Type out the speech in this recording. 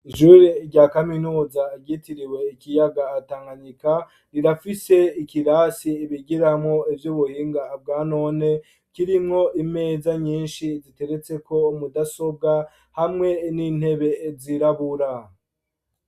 Ishure rya kaminuza agitiriwe ikiyagatankanika rirafise ikirasi ibigiramwo ivyo ubuhinga abwa none kirimwo imeza nyinshi ziteretseko mudasobwa hamwe n'intebe zirabura.